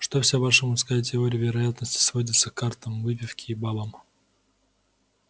что вся ваша мужская теория вероятности сводится к картам выпивке и бабам